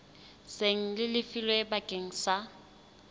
seng le lefilwe bakeng sa